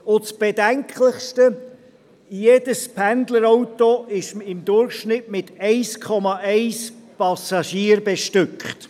Das Bedenklichste: Jedes Pendlerauto ist im Durchschnitt mit 1,1 Passagier bestückt.